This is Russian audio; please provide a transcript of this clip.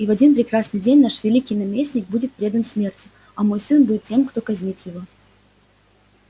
и в один прекрасный день наш великий наместник будет предан смерти а мой сын будет тем кто казнит его